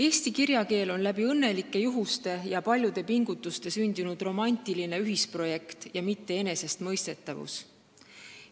Eesti kirjakeel on tänu õnnelikele juhustele ja paljudele pingutustele sündinud romantiline ühisprojekt, mitte enesestmõistetavus.